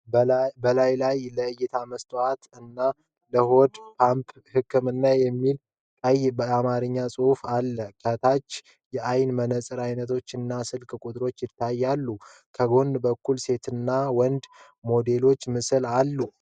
በላዩ ላይ "ለእይታ መስታወት እና ለሆድ ፖምፓ ህክምና" የሚል ቀይ የአማርኛ ጽሑፍ አለ። ከታች የአይን መነጽር አይነቶች እና ስልክ ቁጥሮች ይታያሉ፤ ከጎን በኩል የሴትና የወንድ ሞዴሎች ምስል አሉ።